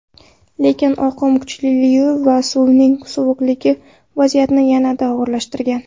Lekin oqim kuchliligi va suvning sovuqligi vaziyatni yanada og‘irlashtirgan.